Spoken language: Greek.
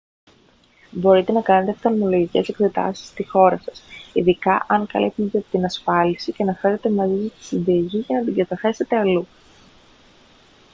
μπορείτε να κάνετε οφθαλμολογικές εξετάσεις στη χώρα σας ειδικά αν καλύπτονται από την ασφάλιση και να φέρετε μαζί σας τη συνταγή για να την καταθέσετε αλλού